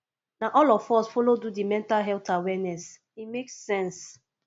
na all of us folo do di mental health awareness e make sense